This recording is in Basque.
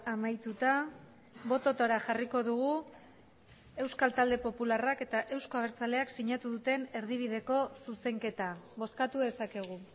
amaituta bototara jarriko dugu euskal talde popularrak eta euzko abertzaleak sinatu duten erdibideko zuzenketa bozkatu dezakegu